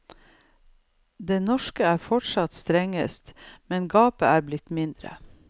Det norske er fortsatt strengest, men gapet er blitt mindre.